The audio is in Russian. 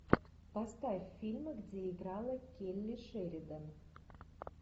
поставь фильмы где играла келли шеридан